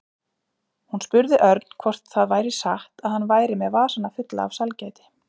Hún spurði Örn hvort það væri satt að hann væri með vasana fulla af sælgæti.